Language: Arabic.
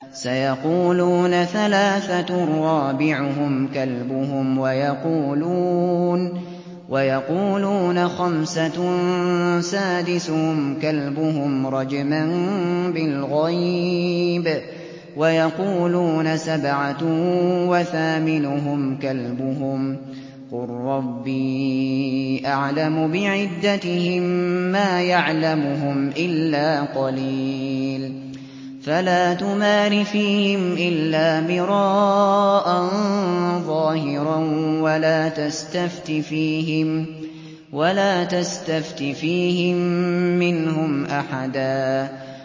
سَيَقُولُونَ ثَلَاثَةٌ رَّابِعُهُمْ كَلْبُهُمْ وَيَقُولُونَ خَمْسَةٌ سَادِسُهُمْ كَلْبُهُمْ رَجْمًا بِالْغَيْبِ ۖ وَيَقُولُونَ سَبْعَةٌ وَثَامِنُهُمْ كَلْبُهُمْ ۚ قُل رَّبِّي أَعْلَمُ بِعِدَّتِهِم مَّا يَعْلَمُهُمْ إِلَّا قَلِيلٌ ۗ فَلَا تُمَارِ فِيهِمْ إِلَّا مِرَاءً ظَاهِرًا وَلَا تَسْتَفْتِ فِيهِم مِّنْهُمْ أَحَدًا